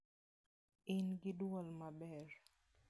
In gi dwol maber.